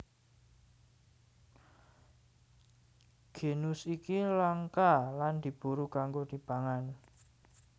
Genus iki langka lan diburu kanggo dipangan